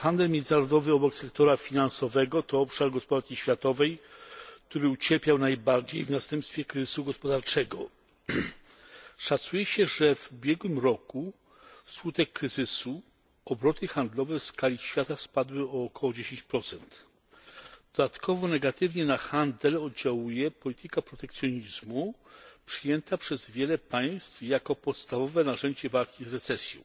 Handel międzynarodowy obok sektora finansowego, to obszar gospodarki światowej, który ucierpiał najbardziej w następstwie kryzysu gospodarczego. Szacuje się, że w ubiegłym roku wskutek kryzysu obroty handlowe w skali świata spadły o około 10 Dodatkowo negatywnie na handel oddziałuje polityka protekcjonizmu przyjęta przez wiele państw jako podstawowe narzędzie walki z recesją.